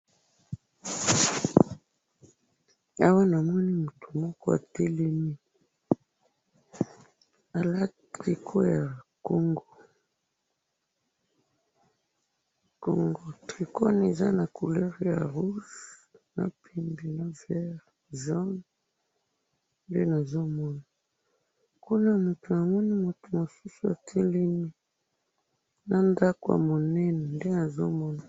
awa namoni mutu moko atelemi alati trico ya congo, trico wana eza na couleur ya rouge vert na jaune kuna na sima namoni mutu atelemi